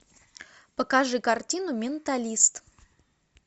покажи картину менталист